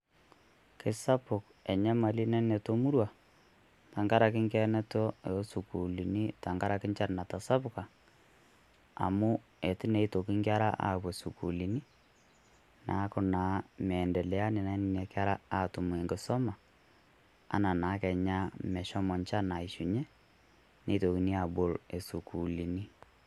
keisapuk enyamali nanoto muruaa tenkaraki enkikenoto osukulini tenkaraki enchan natasapuka amu itu naa itoki nkera apuoo sukulini neku naa miendelea naa nena kera atum enkisuma ena naa kenya meshomo enchan aishunyie nitokini abool sukulini